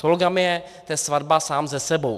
Sologamie, to je svatba sám se sebou.